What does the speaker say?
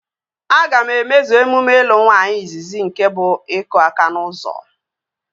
Aga m emezu emume ịlụ nwaanyị izizi nke bụ iku aka n'ụzọ